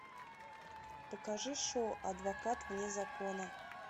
покажи шоу адвокат вне закона